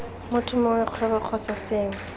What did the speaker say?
motho mongwe kgwebo kgotsa sengwe